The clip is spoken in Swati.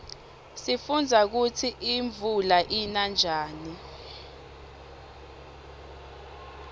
sifundza kutsi imuula ina njani